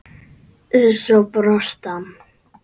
Svo brosti hann.